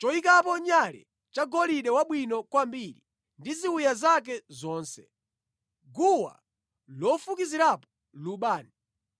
choyikapo nyale cha golide wabwino kwambiri ndi ziwiya zake zonse, guwa lofukizirapo lubani,